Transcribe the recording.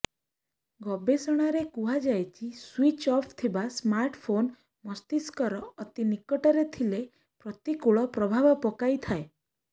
ଗବେଷଣାରେ କୁହାଯାଇଛି switch off ଥିବା ସ୍ମାର୍ଟ ଫୋନ୍ ମସ୍ତିଷ୍କର ଅତି ନିକଟରେ ଥିଲେ ପ୍ରତିକୂଳ ପ୍ରଭାବ ପକାଇଥାଏ